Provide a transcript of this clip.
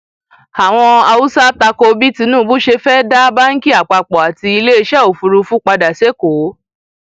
àwọn haúsá ta ko bí tinubu ṣe fẹẹ dá báǹkì àpapọ àti iléeṣẹ òfúrufú padà sẹkọọ